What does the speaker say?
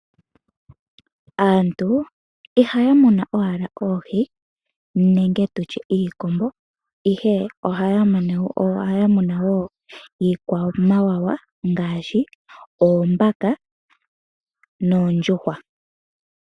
Aantu ihaya muna owala oohi nenge iikombo ihe ohaya munu woo iikwamawawa ngaashi oombaka noondjuhwa.